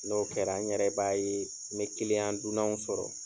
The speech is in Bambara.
N'o kɛra n yɛrɛ b'a ye, n ye dunanw sɔrɔ.